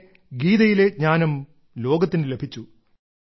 അങ്ങനെ ഗീതയിലെ ജ്ഞാനം ലോകത്തിനു ലഭിച്ചു